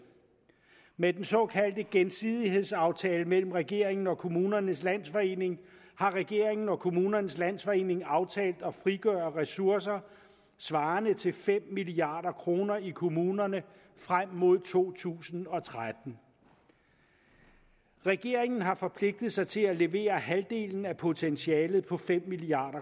med den såkaldte gensidighedsaftale mellem regeringen og kommunernes landsforening har regeringen og kommunernes landsforening aftalt at frigøre ressourcer svarende til fem milliard kroner i kommunerne frem mod to tusind og tretten regeringen har forpligtet sig til at levere halvdelen af potentialet på fem milliard